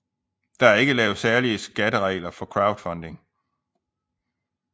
Der er ikke lavet særlige skatteregler for crowdfunding